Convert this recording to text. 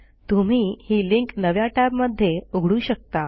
तुम्ही ही लिंक नव्या टॅबमध्ये उघडू शकता